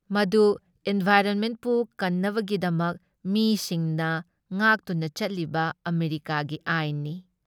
ꯃꯗꯨ ꯏꯟꯚꯥꯏꯔꯟꯃꯦꯟꯠꯄꯨ ꯀꯟꯅꯕꯒꯤꯗꯃꯛ ꯃꯤꯁꯤꯡꯅ ꯉꯥꯛꯇꯨꯅ ꯆꯠꯂꯤꯕ ꯑꯃꯦꯔꯤꯀꯥꯒꯤ ꯑꯥꯏꯟꯅꯤ ꯫